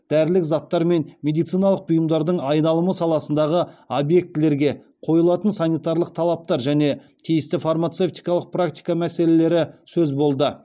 дәрілік заттар мен медициналық бұйымдардың айналымы саласындағы объектілерге қойылатын санитариялық талаптар және тиісті фармацевтикалық практика мәселелері сөз болды